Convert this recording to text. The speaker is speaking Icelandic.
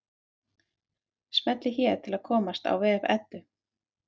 Smellið hér til að komast á vef Eddu.